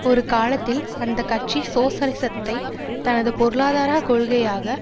ஒரு காலத்தில் அந்த கட்சி சோசலிசத்தை தனது பொருளாதார கொள்கையாக